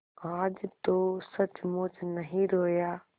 आज तो सचमुच नहीं रोया